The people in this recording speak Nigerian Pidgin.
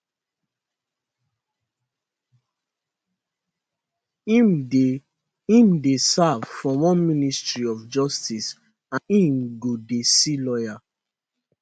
im dey im dey serve for one ministry of justice and im go dey see lawyer